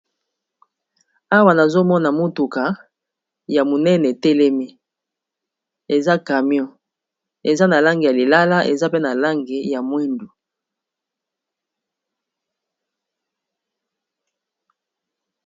Awa nazomona motuka ya monene etelemi eza camion eza na lange ya lilala, eza pe na lange ya mwindu.